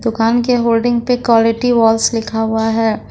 दुकान के होल्डिंग पे क्वालिटी वॉल्स लिखा हुआ है।